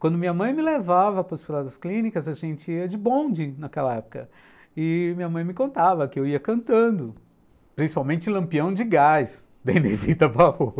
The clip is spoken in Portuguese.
Quando minha mãe me levava para os hospitais das clínicas, a gente ia de bonde naquela época, e minha mãe me contava que eu ia cantando, principalmente Lampião de Gás, da Inezita Barroso